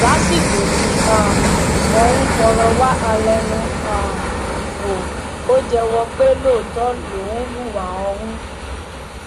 lásìkò tí um wọn ń fọrọ wá a lẹnu um wò ó jẹwọ pé lóòótọ lòun hùwà ọhún